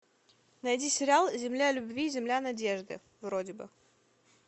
найди сериал земля любви земля надежды вроде бы